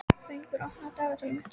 Fengur, opnaðu dagatalið mitt.